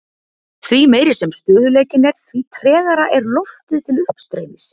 Því meiri sem stöðugleikinn er því tregara er loftið til uppstreymis.